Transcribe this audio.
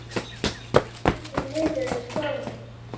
Hann starir niður í borðið.